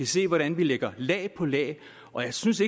se hvordan vi lægger lag på lag og jeg synes